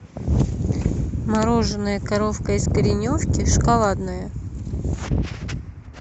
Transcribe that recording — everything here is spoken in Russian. мороженное коровка из кореновки шоколадное